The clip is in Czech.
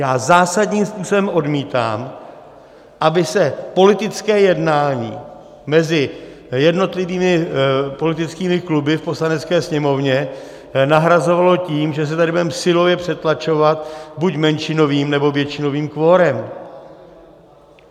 Já zásadním způsobem odmítám, aby se politické jednání mezi jednotlivými politickými kluby v Poslanecké sněmovně nahrazovalo tím, že se tady budeme silově přetlačovat buď menšinovým, nebo většinovým kvorem!